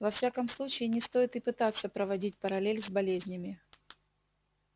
во всяком случае не стоит и пытаться проводить параллель с болезнями